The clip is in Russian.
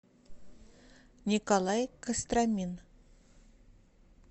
николай костромин